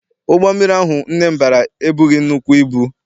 Ụgbọ mmiri ahụ nne m bara ebughị nnukwu ibu.